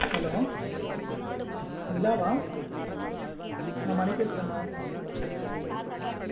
Hello Nila வா நான் மணி பேசுறேன் மா